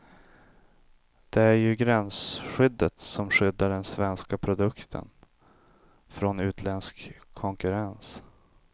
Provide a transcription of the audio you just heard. Det är ju gränsskyddet som skyddar den svenska produkten från utländsk konkurrens.